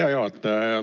Hea juhataja!